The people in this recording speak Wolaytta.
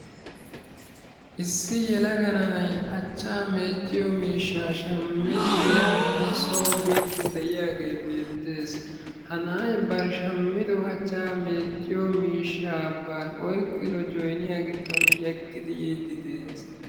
Issi yelaga na'ay achchaa meecciyo miishshaa shammidi giyaappe soo biiddi de'iyagee beettees. Ha na'ay bari shammido achchaa meecciyo miishshaa bari oyqqido joyniyaa giddon yeggidi yiiddi dees.